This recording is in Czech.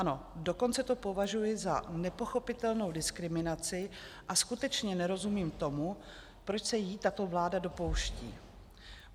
Ano, dokonce to považuji za nepochopitelnou diskriminaci a skutečně nerozumím tomu, proč se jí tato vláda dopouští.